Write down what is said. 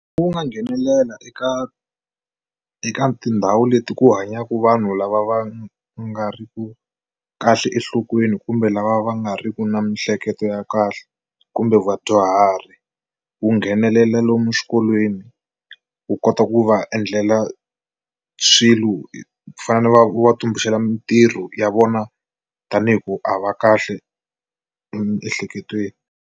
Wu nga nghenelela eka eka tindhawu leti ku hanyaku vanhu lava va nga ri ku kahle enhlokweni kumbe lava va nga ri ki na miehleketo ya kahle kumbe vadyuhari wu nghenelela lomu xikolweni wu kota ku va endlela swilo ku fana na va tumbuluxela mintirho ya vona tanihi ku a va kahle emiehleketweni.